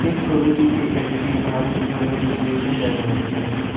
এই ছবিটিতে একটি ভারতীয় রেলস্টেশন দেখা যাচ্ছে।